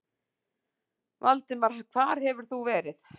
Valdimar, hvar hefur þú verið?